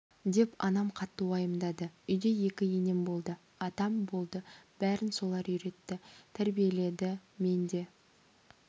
деп анам қатты уайымдады үйде екі енем болды атам болды бәрін солар үйретті тәрбиеледі мен де